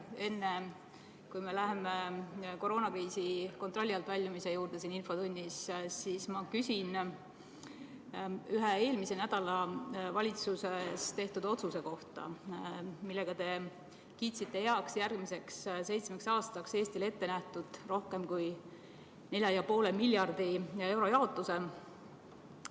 Enne kui me siin infotunnis läheme koroonakriisi kontrolli alt väljumise juurde, siis ma küsin ühe eelmisel nädalal valitsuses tehtud otsuse kohta, millega te kiitsite heaks järgmiseks seitsmeks aastaks Eestile ette nähtud rohkem kui 4,5 miljardi euro jaotuse.